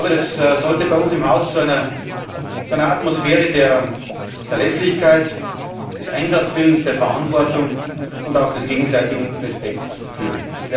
Das sollte bei uns im Haus zu einer Atmosphäre der Verlässlichkeit, des Einsatzwillens, der Verantwortung und auch des gegenseitigen Respekts führen.